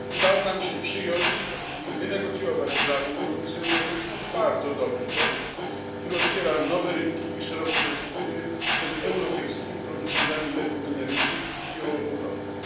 Udało nam się przyjąć, a później wynegocjować z Radą i Komisją Europejską bardzo dobry tekst, który otwiera nowe rynki i szerokie perspektywy przed europejskimi producentami leków generycznych i biopodobnych.